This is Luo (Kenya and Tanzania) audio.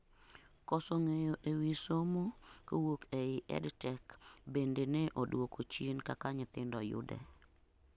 koso ng'eyo ewi somo kowuok ei EdTech bende ne oduoko chien kaka nyithindo yude